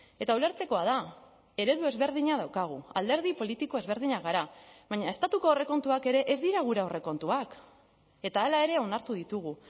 eta ulertzekoa da eredu ezberdina daukagu alderdi politiko ezberdinak gara baina estatuko aurrekontuak ere ez dira gure aurrekontuak eta hala ere onartu ditugu